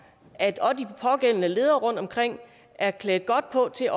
at de pågældende ledere rundtomkring er klædt godt på til